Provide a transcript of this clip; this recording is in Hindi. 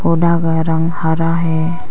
पौधा का रंग हरा है।